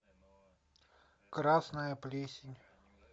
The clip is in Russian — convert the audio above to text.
красная плесень